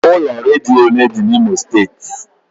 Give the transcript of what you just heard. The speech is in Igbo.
Ụlọ redio ole dị n'Imo steeti?